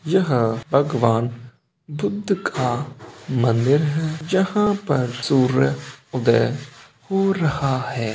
यहाँ भगवान बुद्ध का मंदिर है जहाँ पर सूर्य उदय हो रहा है।